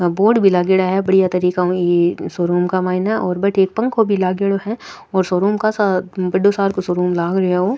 Board भी लाग्योडा है बढ़िया तरीके उ ई शोरूम के मायने और बटे एक पंखो भी लाग्योड़ो है और शोरूम काशा बढ़ो सार को शोरूम लाग रियो है ओ।